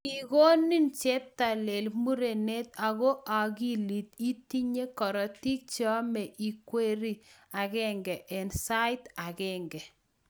Kikonin cheptailel murenet ago agilit, itinye korotik cheyome ikweri agenge eng sait agenge